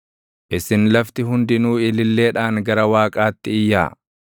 Isin lafti hundinuu ililleedhaan gara Waaqaatti iyyaa!